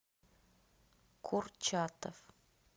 курчатов